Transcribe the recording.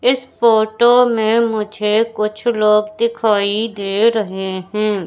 इस फोटो में मुझे कुछ लोग दिखाई दे रहे हैं।